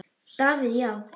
Davíð Já.